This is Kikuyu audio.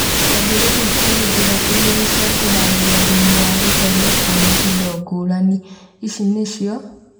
Kĩambĩrĩria kũrĩ njĩra igĩrĩ cia kũharĩrĩria thumu wa gũthondekwo nĩ indo ngũrani. ici nĩcio